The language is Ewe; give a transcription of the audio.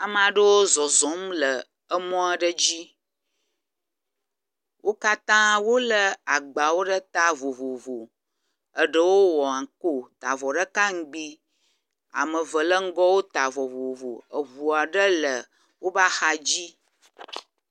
Ame aɖewo zɔzɔm le emɔ aɖe dzi. Wo katã wo elagbawo ɖe ta vovovo eɖewo wɔ anko ta avɔ ɖeka ŋgi ame eve le ŋgɔ wota avɔ vovovo. Eŋu aɖe le woƒe axa dzi.